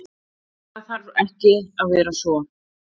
En, það þarf ekki að vera svo.